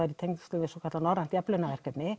tengist Norrænu